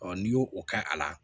n'i y'o kɛ a la